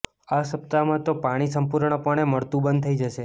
આ સપ્તાહમાં તો પાણી સંપુર્ણપણે મળતું બંધ થઈ જશે